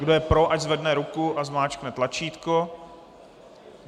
Kdo je pro, ať zvedne ruku a zmáčkne tlačítko.